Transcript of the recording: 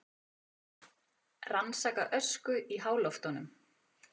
Rannsaka ösku í háloftunum